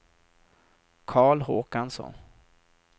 Carl Håkansson